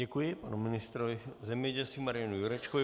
Děkuji panu ministrovi zemědělství Marianu Jurečkovi.